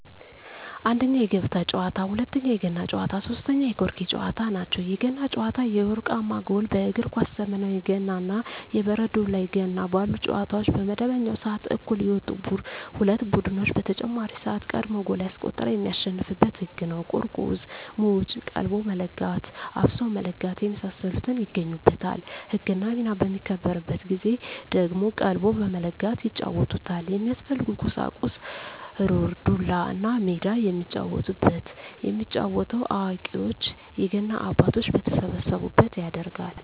1ኛ, የገበጣ ጨዋታ, 2ኛ, የገና ጨዋታ, 3ኛ የቆርኪ ጨዋታ ናቸው። የገና ጨዋታ የወርቃማ ጎል በእግር ኳስ ዘመናዊ ገና እና የበረዶ ላይ ገና ባሉ ጨዋታዎች በመደበኛው ስዓት እኩል የወጡ ሁለት ቡድኖች በተጨማሪ ስዓት ቀድሞ ጎል ያስቆጠረ የሚያሸንፋበት ህግ ነው ቁርቁዝ ሙጭ ,ቀልቦ መለጋት ,አፍሶ መለጋት የመሳሰሉት ይገኙበታል። ህግና ሚና በሚከበርበት ጊዜ ደግሞ ቀልቦ በመለጋት ይጫወቱታል። የሚያስፈልጉ ቁሳቁስ ሩር, ዱላ, እና ሜዳ የሚጫወቱበት። የሚጫወተው አዋቂዎች የገና አባቶች በተሰበሰቡበት ይደረጋል።